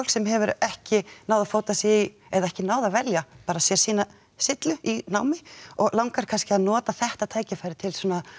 sem hefur ekki náð að fóta sig í eða ekki náð að velja sér sína sillu í námi og langar kannski að nota þetta tækifæri til